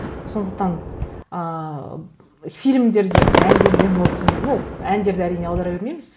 сондықтан ыыы фильмдерден әндерден болсын ну әндерді әрине аудара бермейміз